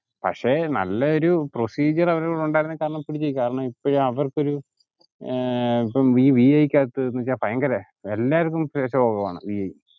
പക്ഷേ നല്ല ഒരു procedure അവർ കാരണം ഇപ്പോളും അവര്ക് ഒരു ഏർ ഇപ്പം വി ഐ യ്ക്കകത് വെച്ചാ ഭയങ്കര എല്ലാര്ക്കു കുറവാണു